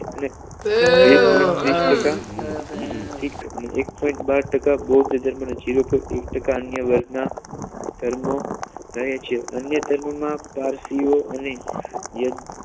બે point ત્રીશ ટકા શિખ અને એક point બાર ટકા બૌદ્ધ ધર્મ જીરો point એક ટકા અન્ય વર્ગના ધર્મો રહે છે અન્ય ધર્મમા પારસીઓ અને યદ